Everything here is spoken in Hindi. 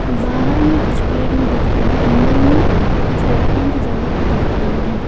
बाहर में कुछ पेड़ भी दिख रहे और अंदर में कुछ बैठने की जगह भी दिख रही है।